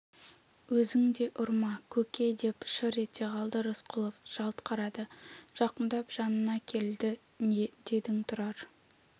өзің де ұрма көке деп шыр ете қалды рысқұлов жалт қарады жақындап жанына келді дедің тұрар